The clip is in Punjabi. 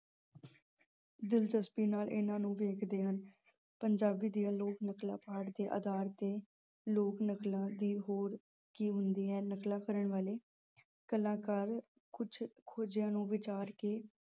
ਦਿਲਚਸਪੀ ਨਾਲ ਇਹਨਾਂ ਨੂੰ ਵੇਖਦੇ ਹਨ। ਪੰਜਾਬੀ ਦੀਆਂ ਲੋਕ ਨਕਲਾਂ ਪਾਠ ਦੇ ਆਧਾਰ ਤੇ ਲੋਕ ਨਕਲਾਂ ਦੀ ਹੋਰ ਕੀ ਹੁੰਦੀ ਹੈ। ਨਕਲਾਂ ਕਰਨ ਵਾਲੇ ਕਲਾਕਾਰ ਕੁੱਝ ਖੋਜਾਂ ਨੂੰ ਵਿਚਾਰ ਕੇ